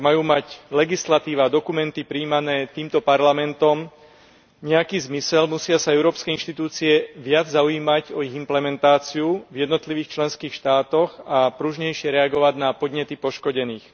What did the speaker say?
Ak majú mať legislatíva a dokumenty prijímané týmto parlamentom nejaký zmysel, musia sa európske inštitúcie viac zaujímať o ich implementáciu v jednotlivých členských štátoch a pružnejšie reagovať na podnety poškodených.